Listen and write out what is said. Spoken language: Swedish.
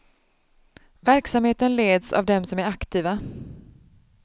Verksamheten leds av dem som är aktiva.